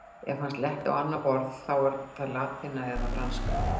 Ef hann sletti á annað borð, þá var það latína eða franska.